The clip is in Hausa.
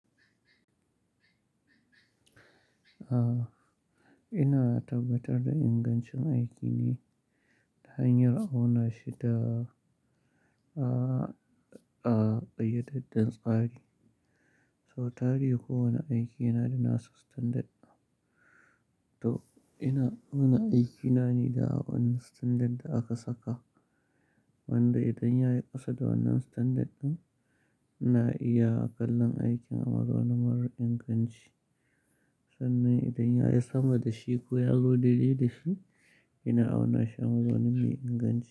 Ah, ina tabbatar da ingancin aiki ne ta hanyar auna shi ta, ah, ah, ƙayyadadden tsari. Sau tari kowane aiki yana da nasu standard. To ina, auna aiki na ne da wannan standard da aka saka, wanda idan ya yi ƙasa da wannan standard ɗin, ina iya kallon aikin Azaunin marar inganci. Sannan idan ya yi sama da shi ko ya zo daide da shi, ina auna shi Amazauni mai inganci.